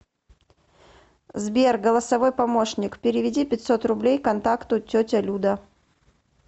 сбер голосовой помощник переведи пятьсот рублей контакту тетя люда